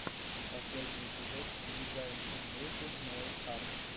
последний эпизод дизайн ин бьюти нэйл арт